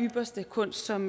ypperste kunst som